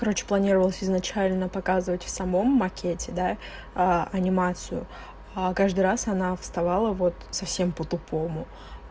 короче планировалось изначально показывать в самом макете да а анимацию а каждый раз она вставала вот совсем по тупому